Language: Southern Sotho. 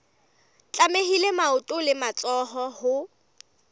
tlamehile maoto le matsoho ho